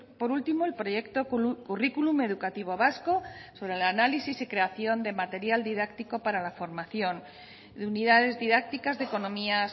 por último el proyecto currículum educativo vasco sobre el análisis y creación de material didáctico para la formación de unidades didácticas de economía